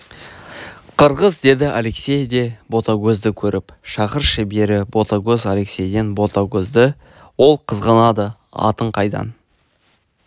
қырғыз деді алексей де ботагөзді көріп шақыршы бері ботагөз алексейден ботагөзді ол қызғанады атын қайдан